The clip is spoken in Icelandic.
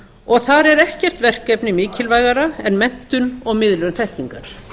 og þar er ekkert verkefni mikilvægara en menntun og miðlun þekkingar